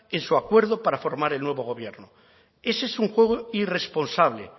en su acuerdo para formar el nuevo gobierno ese es un juego irresponsable